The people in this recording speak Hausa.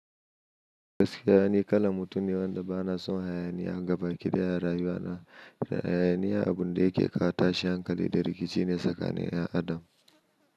Gaskiya ni kalan mutum ne wanda bana son hayaniya. Gabaki daya a rayuwa na. Hayaniya abun da yake kawo tashin hankali da rikici ne tsakanin ‘yan adam.